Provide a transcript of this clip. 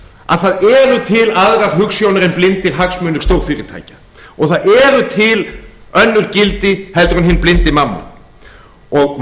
að það eru til aðrar hugsjónir en blindir hagsmunir stórfyrirtækja og það eru til önnur gildi en hinn blindi mammon